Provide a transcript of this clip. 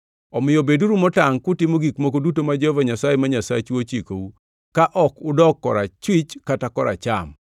Omiyo beduru motangʼ kutimo gik moko duto ma Jehova Nyasaye ma Nyasachu ochikou, ka ok udok korachwich kata koracham.